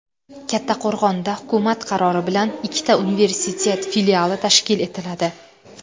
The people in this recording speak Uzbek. Kattaqo‘rg‘onda hukumat qarori bilan ikkita universitet filiali tashkil etiladi.